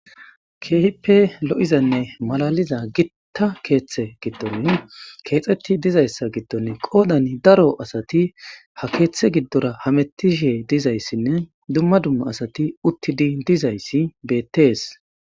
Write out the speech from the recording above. Keehippe lo'izanne makaliza Gita kethe kexetid dizaysa gidon qodan daroadat ha kethe gidora hamutishe dizaysinne daro asat utid dizays betes.